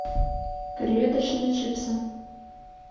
креветочные чипсы